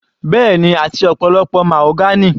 Bẹ́ẹ̀ni, àti ọ̀pọ̀lọpọ̀ mahogany.